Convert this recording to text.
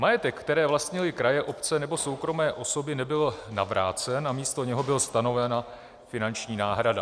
Majetek, který vlastnily kraje, obce nebo soukromé osoby, nebyl navrácen a místo něho byla stanovena finanční náhrada.